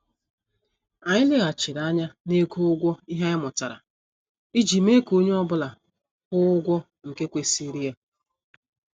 Anyị leghachiri anya na-ego ụgwọ ihe anyị mụtara iji mee ka onye ọ bụla gwuo ụgwọ nke kwesịrị ya.